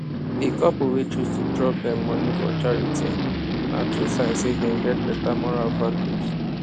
di couple wey choose to drop dem moni for charity na true sign say dem get beta moral values